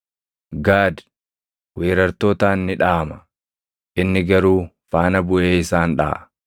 “Gaad weerartootaan ni dhaʼama; inni garuu faana buʼee isaan dhaʼa.